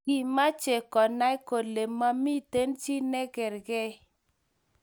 Kimache konay kole mamiten chi negageer